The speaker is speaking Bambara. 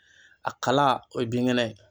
A kala o ye binkɛnɛ ye.